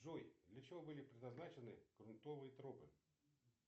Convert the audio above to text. джой для чего были предназначены грунтовые тропы